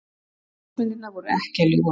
Ljósmyndirnar voru ekki að ljúga.